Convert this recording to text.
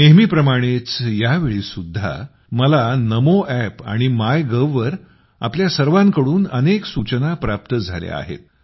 नेहमीप्रमाणेच या वेळीसुद्धा मला नमो एप आणि माय गव्ह वर आपणा सर्वांकडून अनेक सूचना प्राप्त झाल्या आहेत